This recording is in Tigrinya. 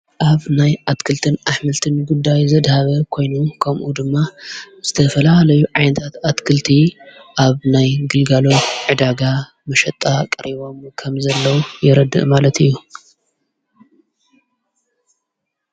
ኣብ ናይ ኣትክልትን ኣኅምልትን ጉዳይ ዘድሃበ ኮይኑ ከምኡ ድማ ዝተፈላለዩ ዓንንታት ኣትክልቲ ኣብ ናይ ግልጋሎት ዕዳጋ ምሸጣ ቐሪቦም ከም ዘለዉ የረድእ ማለት እዩ።